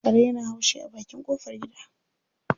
Kare yana haushi a bakin ƙofar gida.